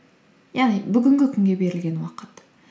яғни бүгінгі күнге берілген уақыт